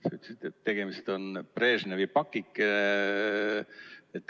Sa ütlesid, et tegemist on Brežnevi pakikesega.